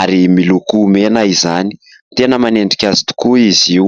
ary miloko mena izany, tena manendrika azy tokoa izy io.